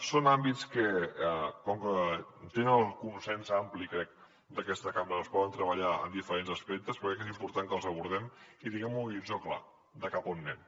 són àmbits que com que tenen el consens ampli crec d’aquesta cambra es poden treballar en diferents aspectes però crec que és important que els abordem i que tinguem un horitzó clar de cap a on anem